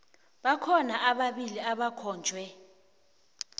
bakhona ababili abakhonjwe